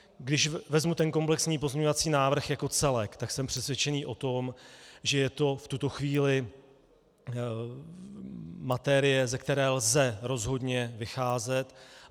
Když vezmu ten komplexní pozměňovací návrh jako celek, tak jsem přesvědčený o tom, že je to v tuto chvíli materie, ze které lze rozhodně vycházet.